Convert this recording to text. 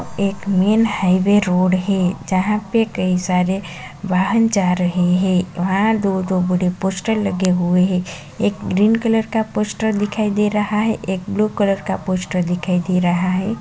एक main highway road है जहाँ पे कई सारे वाहन जा रहे हैं वहाँ दो- दो बड़े पोस्टर लगे हुए हैं एक ग्रीन कलर का पोस्टर दिखाई दे रहा है एक ब्लू कलर का पोस्टर दिखाई दे रहा है।